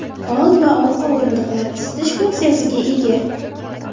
Old va orqa o‘rindiqlar isitish funksiyasiga ega.